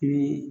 I bi